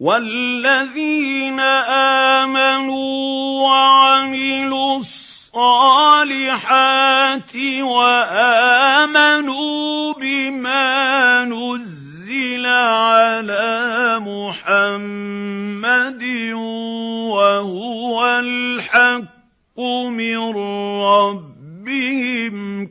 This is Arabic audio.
وَالَّذِينَ آمَنُوا وَعَمِلُوا الصَّالِحَاتِ وَآمَنُوا بِمَا نُزِّلَ عَلَىٰ مُحَمَّدٍ وَهُوَ الْحَقُّ مِن رَّبِّهِمْ ۙ